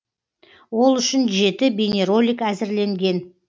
ол үшін жеті бейнеролик әзірленген